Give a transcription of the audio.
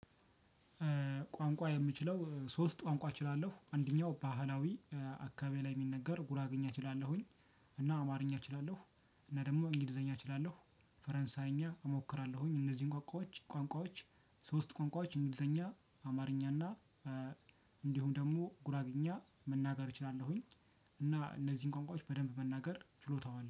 ቋንቋ የምችለው ሶስት ቋንቋ እችላለሁ አንደኛው ባህላዊ አካባቢ ላይ የሚነገር ጉራግኝ አችላለሁኝ። እና አማርኛ እችላለሁ። እና ደግሞ እንግሊዘኛ አችላለሁ ፈረንሳይኛ እሞክራለሁኝ። እነዚህን ቋንቋዎች ቋንቋዎች ሶስት ቋንቋዎች እንግሊዘኛ አማርኛ እና እንዲሁም ደግሞ ጉራግኛ መናገር እችላለሁኝ። እና እነዚህን ቋንቋዎች በደንብ መናገር ችሎታው አለኝ